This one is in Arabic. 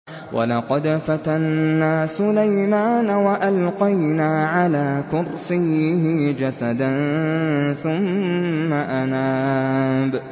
وَلَقَدْ فَتَنَّا سُلَيْمَانَ وَأَلْقَيْنَا عَلَىٰ كُرْسِيِّهِ جَسَدًا ثُمَّ أَنَابَ